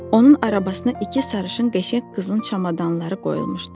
Onun arabasına iki sarışın qəşəng qızın çamadanları qoyulmuşdu.